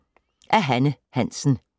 Af Hanne Hansen